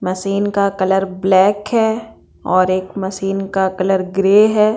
Machine का colour black है और एक मशीन का कलर ग्रे है।